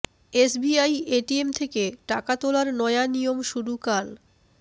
SBI ATM থেকে টাকা তোলার নয়া নিয়ম শুরু কাল